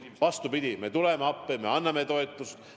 Vastupidi, me tuleme appi, me anname toetust.